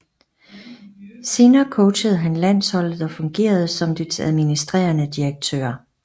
Senere coachede han landsholdet og fungerede som dets administrerende direktør